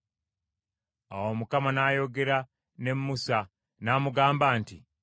Awo Mukama n’ayogera ne Musa n’amugamba nti,